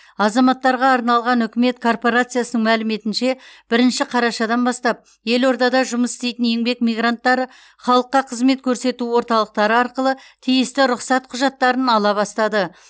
азаматтарға арналған үкімет корпорациясының мәліметінше бірінші қарашадан бастап елордада жұмыс істейтін еңбек мигранттары халыққа қызмет көрсету орталықтары арқылы тиісті рұқсат құжаттарын ала бастады